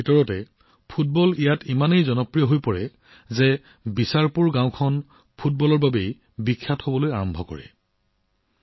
কেইবছৰমানৰ ভিতৰতে ইয়াত ফুটবল ইমানেই জনপ্ৰিয় হৈ পৰিল যে বিচাৰপুৰ গাঁওখন ফুটবলৰ সৈতে চিনাকি হবলৈ ধৰিলে